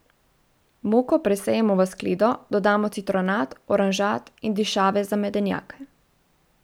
Moko presejemo v skledo, dodamo citronat, oranžat in dišave za medenjake.